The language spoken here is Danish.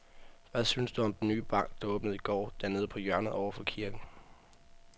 Hvad synes du om den nye bank, der åbnede i går dernede på hjørnet over for kirken?